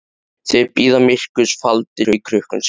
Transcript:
Þeir bíða myrkurs faldir í krukkum sínum.